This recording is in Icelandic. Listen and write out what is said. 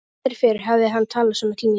Aldrei fyrr hafði hann talað svona til mín.